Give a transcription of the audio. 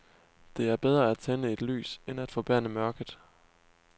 Det er bedre at tænde et lys end at forbande mørket.